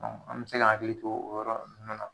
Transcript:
an bɛ se k'an hakili to o yɔrɔ nun na.